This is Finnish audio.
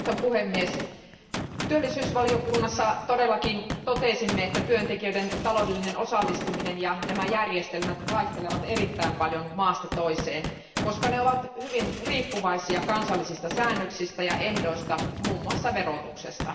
Arvoisa puhemies, totesimme työllisyyden ja sosiaaliasioiden valiokunnassa, että työntekijöiden taloudellinen osallistuminen ja nämä järjestelmät vaihtelevat erittäin paljon maasta toiseen, koska ne ovat hyvin riippuvaisia kansallisista säännöksistä ja ehdoista, muun muassa verotuksesta.